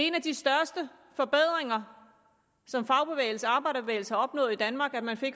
en af de største forbedringer som fagbevægelsen og arbejderbevægelsen opnåede i danmark at man